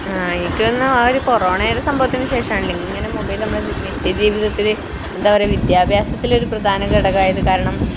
ങ്ഹാ എനിക്ക് തോന്നുന്നേ ആ ഒരു കൊറോണയുടെ സംഭവത്തിനു ശേഷമാണെന്ന് തോന്നുന്നു ഇങ്ങനെ മൊബൈല് നമ്മുടെ നിത്യജീവിതത്തിൽ, വിദ്യാഭ്യാസത്തിൽ ഒരു പ്രധാനഘടകമായത്. കാരണം